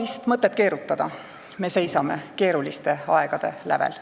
Ei ole mõtet keerutada, me seisame keeruliste aegade lävel.